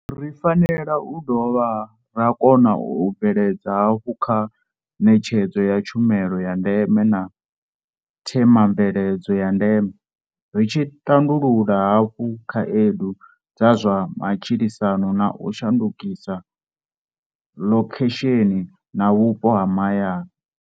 Ri fanela u dovha ra kona u bvelela hafhu kha ṋetshedzo ya tshumelo ya ndeme na themamveledziso ya ndeme, ri tshi tandulula hafhu khaedu dza zwa matshilisano na u shandukisa ḽokhesheni na vhupo ha mahayani.